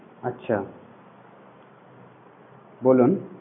আচ্ছা বলুন.